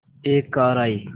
एक कार आई